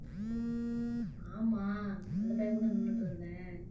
ஆமா அந்த பையன் கூட நின்னுட்டு இருந்தேன்